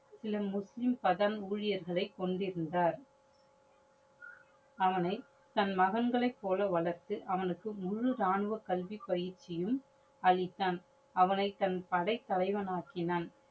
சில முஸ்லிம் கடன் ஊழியர்களை கொண்டிருந்தார். அவனை தன் மகன்களை போல வளர்த்து அவனுக்கு முழு ராணுவ கல்வி பயிற்சியும் அளித்தான். அவனை தன் படை தலைவனாக்கினான்.